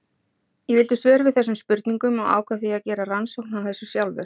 Ég vildi svör við þessum spurningum og ákvað því að gera rannsókn á þessu sjálfur.